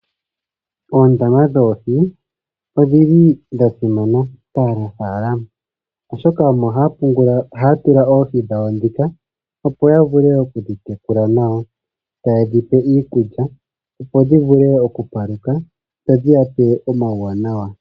Oondama dhoohi odhili dha simana kaanafaalama, oshoka omo haya tula oohi dhawo dhika opo yavule okudhi tekula nawa. Taye dhipe iikulya opo dhivule okupaluka, dho dhiyape omawuwanawa.